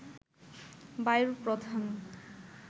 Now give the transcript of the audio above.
বায়ুর প্রধান